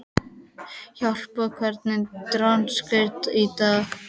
Harpa, hvernig er dagskráin í dag?